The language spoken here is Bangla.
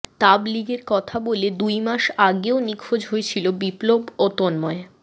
তাবলীগের কথা বলে দুই মাস আগেও নিখোঁজ হয়েছিল বিপ্লব ও তন্ময়